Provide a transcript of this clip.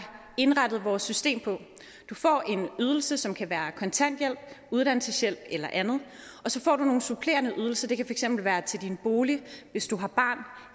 indrettet vores system på du får en ydelse som kan være kontanthjælp uddannelseshjælp eller andet og så får du nogle supplerende ydelser det kan for eksempel være til din bolig hvis du har barn